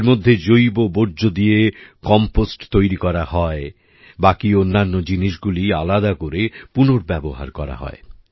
এর মধ্যে জৈব বর্জ্য দিয়ে কম্পোস্ট তৈরি করা হয় বাকি অন্যান্য জিনিসগুলি আলাদা করে পুনর্ব্যবহার করা হয়